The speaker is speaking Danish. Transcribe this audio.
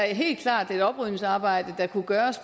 helt klart er et oprydningsarbejde der kunne gøres